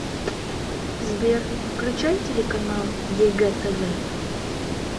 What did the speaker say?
сбер включай телеканал егэ тв